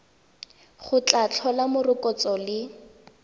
go tla tlhola morokotso le